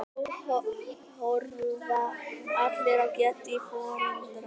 Nú horfa allir á Geddu í forundran.